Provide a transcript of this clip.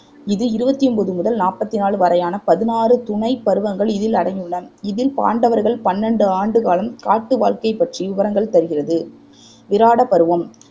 இது இருவத்தி ஒம்போது முதல் நாப்பத்தி நாலு வரையான பதினாறு துணைப் பருவங்கள் இதில் அடங்கியுள்ளன இதில் பாண்டவர்கள் பன்னண்டு ஆண்டுக்காலம் காட்டு வாழ்க்கை பற்றி விபரங்கள் தருகிறது விராட பருவம்